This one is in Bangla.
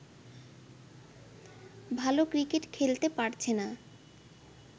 ভালো ক্রিকেট খেলতে পারছে না